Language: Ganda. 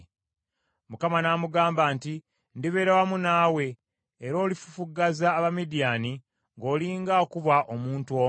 Mukama n’amugamba nti, “Ndibeera wamu naawe, era olifufuggaza Abamidiyaani ng’olinga akuba omuntu omu.”